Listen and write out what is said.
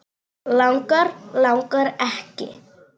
Langar, langar ekki.